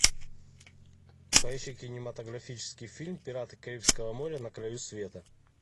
поищи кинематографический фильм пираты карибского моря на краю света